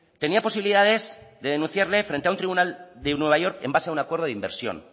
tenía posibilidades de denunciarle frente a un tribunal de nueva york en base de un acuerdo de inversión